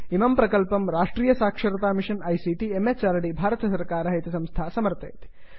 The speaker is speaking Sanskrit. इमं प्रकल्पं राष्ट्रीय साक्षरता मिषन् आईसीटी म्हृद् भारत सर्वकारः इति संस्था समर्थयति